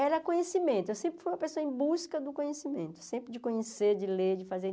Era conhecimento, eu sempre fui uma pessoa em busca do conhecimento, sempre de conhecer, de ler, de fazer.